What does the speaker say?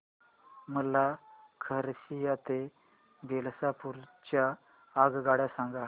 मला खरसिया ते बिलासपुर च्या आगगाड्या सांगा